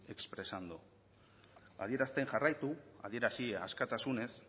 expresando adierazten jarraitu adierazi askatasunez